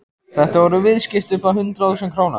Þetta voru viðskipti upp á hundruð þúsunda króna.